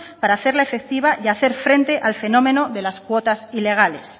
para hacerla efectiva y hacer frente al fenómeno de las cuotas ilegales